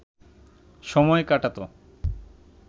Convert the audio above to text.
সময় কাটাত